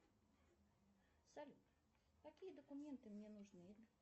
салют какие документы мне нужны